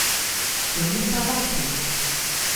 Čemu ta vakuum?